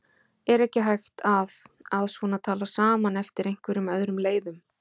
Er ekki hægt að að svona tala saman eftir einhverjum öðrum leiðum?